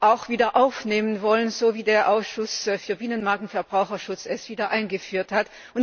auch wieder aufnehmen wollen, so wie der Ausschuss für Binnenmarkt und Verbraucherschutz es wieder eingeführt hat.